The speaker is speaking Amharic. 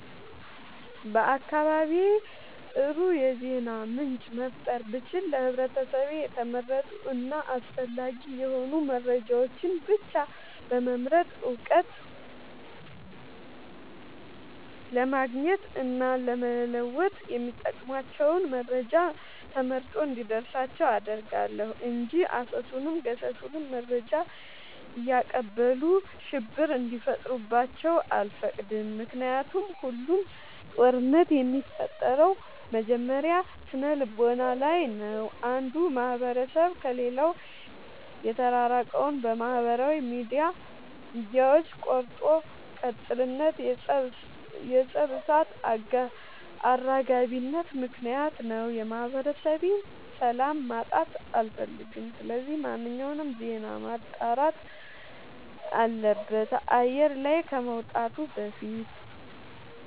በአካባቢዬ አጥሩ የዜና ምንጭ መፍጠር ብችል ለህብረተሰቤ የተመረጡ እና አስፈላጊ የሆኑ መረጃዎችን ብቻ በመምረጥ እውቀት ለማግኘት እና ለመወጥ የሚጠቅሟቸውን መረጃ ተመርጦ እንዲደርሳቸው አደርጋለሁ። እንጂ አሰሱንም ገሰሱንም መረጃ እያቀበሉ ሽብር እንዲፈጥሩባቸው አልፈቅድም ምክንያቱም ሁሉም ጦርነት የሚፈጠረው መጀመሪያ ስነልቦና ላይ ነው። አንዱ ማህበረሰብ ከሌላው የተራራቀው በማህበራዊ ሚዲያዎች ቆርጦ ቀጥልነት የፀብ እሳት አራጋቢነት ምክንያት ነው። የማህበረሰቤን ሰላም ማጣት አልፈልግም ስለዚህ ማንኛውም ዜና መጣራት አለበት አየር ላይ ከመውጣቱ በፊት።